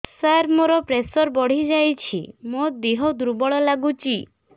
ସାର ମୋର ପ୍ରେସର ବଢ଼ିଯାଇଛି ମୋ ଦିହ ଦୁର୍ବଳ ଲାଗୁଚି